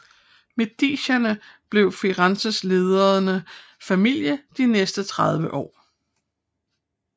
Medicierne blev Firenzes ledende familie de næste tredive år